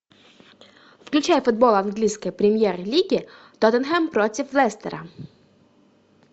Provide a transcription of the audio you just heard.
включай футбол английской премьер лиги тоттенхэм против лестера